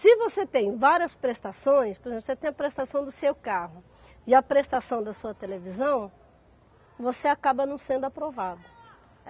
Se você tem várias prestações, por exemplo, você tem a prestação do seu carro e a prestação da sua televisão, você acaba não sendo aprovado.